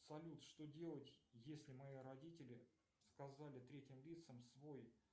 салют что делать если мои родители сказали третьим лицам свой